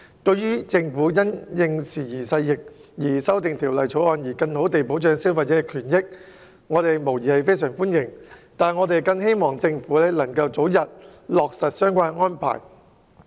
對於政府因應時移世易修訂《條例草案》，更好地保障消費者權益，我們表示非常歡迎，但我們希望政府能夠早日落實相關安排。